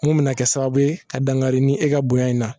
Mun bɛna kɛ sababu ye ka dankari ni e ka bonya in na